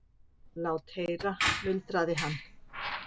Lát heyra, muldraði hann.